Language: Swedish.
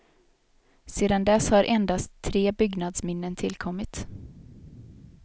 Sedan dess har endast tre byggnadsminnen tillkommit.